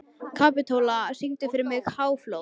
Kapitola, syngdu fyrir mig „Háflóð“.